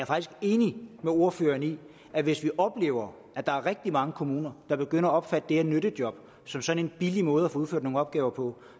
faktisk enig med ordføreren i at hvis vi oplever at der er rigtig mange kommuner der begynder at opfatte de her nyttejob som sådan en billig måde at få udført nogle opgaver på